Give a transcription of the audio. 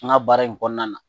N ka baara in kɔnɔna na